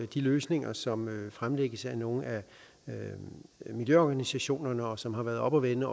de løsninger som fremlægges af nogle af nogle miljøorganisationerne og som har været oppe at vende